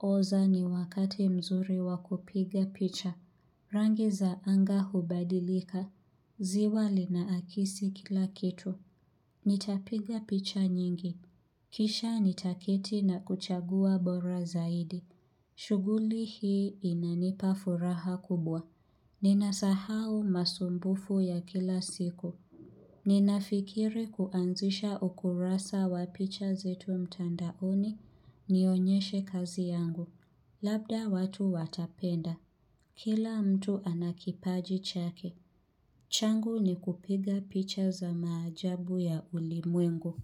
oza ni wakati mzuri wakupiga picha. Rangi za anga hubadilika. Ziwa linaakisi kila kitu. Nitapiga picha nyingi. Kisha nitaketi na kuchagua bora zaidi. Shuguli hii inanipa furaha kubwa. Ninasahau masumbufu ya kila siku. Ninafikiri kuanzisha ukurasa wa picha zetu mtandaoni nionyeshe kazi yangu. Labda watu watapenda. Kila mtu anakipaji chake. Changu ni kupiga picha za maajabu ya ulimwengu.